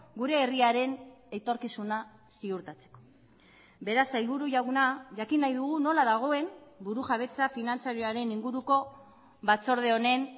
gure herriaren etorkizuna ziurtatzeko beraz sailburu jauna jakin nahi dugu nola dagoen burujabetza finantzarioaren inguruko batzorde honen